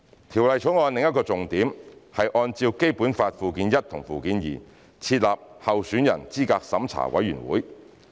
《條例草案》的另一重點，是按《基本法》附件一和附件二，設立候選人資格審查委員會。